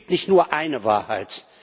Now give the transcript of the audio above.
Es gibt nicht nur eine Wahrheit.